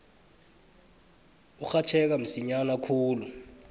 urhatjheka msinya khulu